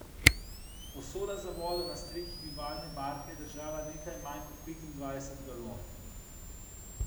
Posoda za vodo na strehi bivalne barke je držala nekaj manj kot petindvajset galon.